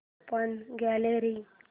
open gallery